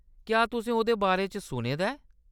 क्या तु'सें ओह्‌‌‌दे बारै च सुने दा ऐ ?